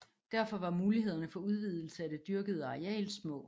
Derfor var mulighederne for udvidelse af det dyrkede areal små